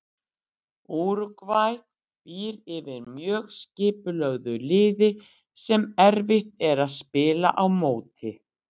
Úrúgvæ býr yfir mjög skipulögðu liði sem erfitt er að spila á móti.